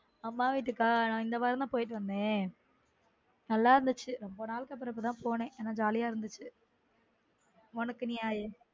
அம்மா வீட்டுக்கா நா இந்த வாரம் தான் போயிட்டு வந்தேன் நல்லா இருந்துச்சு ரொம்ப நாள்க்கு அப்புறம் இப்ப தான் போனென் நல்லா jolly இருந்துச்சு உனக்கு நீ